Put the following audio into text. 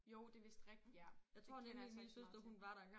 Jo det vist rigtigt ja. Det kender jeg altså ikke så meget til